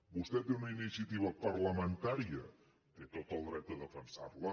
vostè té una iniciativa parlamentària té tot el dret a defensar la